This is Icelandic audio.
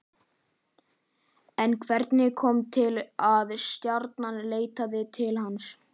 En hvernig kom til að Stjarnan leitaði til hans?